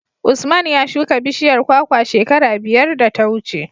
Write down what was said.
Usman ya shuka bishiyar kwakwa shekara biyar da ta wuce.